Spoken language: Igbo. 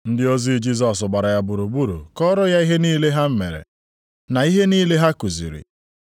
Ndị ozi Jisọs gbara ya gburugburu kọọrọ ya ihe niile ha mere, na ihe niile ha kuziri.